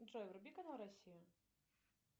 джой вруби канал россия